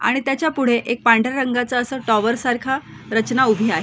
आणि त्याच्या पुढे एक पांढऱ्या रंगाच असं टॉवर सारखी रचना उभी आहे.